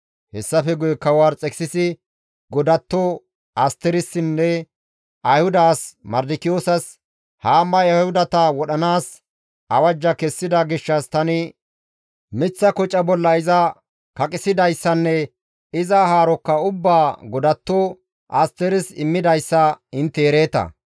Hessafe guye kawo Arxekisisi godatto Asterissinne Ayhuda as Mardikiyoosas, «Haamay Ayhudata wodhanaas awajja kessida gishshas tani miththa koca bolla iza kaqissidayssanne iza haarokka ubbaa godatto Asteris immidayssa intte ereeta.